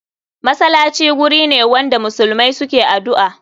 Masalaci gurine wanda muslmai suke adu'a.